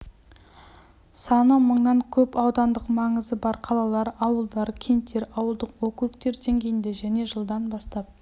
саны мыңнан көп аудандық маңызы бар қалалар ауылдар кенттер ауылдық округтер деңгейінде және жылдан бастап